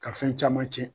Ka fɛn caman tiɲɛ